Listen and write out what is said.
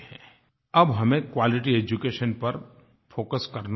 अब हमें quality education पर फोकस करना ही होगा